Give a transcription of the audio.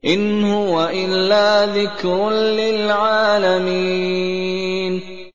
إِنْ هُوَ إِلَّا ذِكْرٌ لِّلْعَالَمِينَ